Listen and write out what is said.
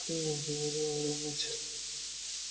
кэлвин говорил о работе